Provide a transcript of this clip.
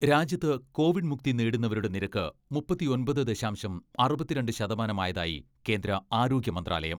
രാജ്യത്ത് കോവിഡ് മുക്തി നേടുന്നവരുടെ നിരക്ക് മുപ്പത്തിയൊമ്പത് ദശാംശം അറുപത്തിരണ്ട് ശതമാനമായതായി കേന്ദ്ര ആരോഗ്യ മന്ത്രാലയം.